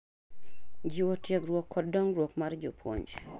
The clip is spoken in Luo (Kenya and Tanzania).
Jiwo tiegruok kod dongruok mar jopuonj